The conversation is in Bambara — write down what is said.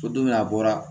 Ko don min a bɔra